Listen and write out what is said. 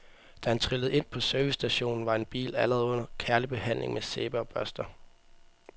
Da han trillede ind på servicestationen, var en bil allerede under kærlig behandling med sæbe og børster.